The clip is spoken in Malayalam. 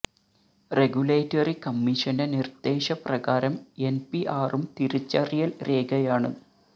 റെഗുലേറ്ററി കമ്മിഷന്റെ നിര്ദ്ദേശ പ്രകാരം എന് പി ആറും തിരിച്ചറിയല് രേഖയാണ്